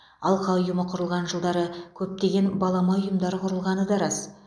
алқа ұйымы құрылған жылдары көптеген балама ұйымдар құрылғаны да рас